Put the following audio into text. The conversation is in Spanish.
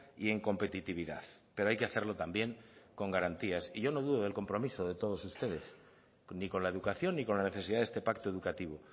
y en competitividad pero hay que hacerlo también con garantías y yo no dudo del compromiso de todos ustedes ni con la educación ni con la necesidad de este pacto educativo